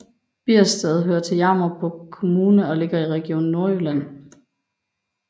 Biersted hører til Jammerbugt Kommune og ligger i Region Nordjylland